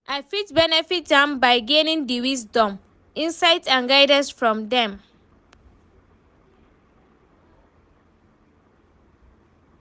I fit benefit am by gaining di wisdom, insight and guidance from dem.